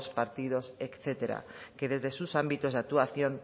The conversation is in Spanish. partidos etcétera que desde sus ámbitos de actuación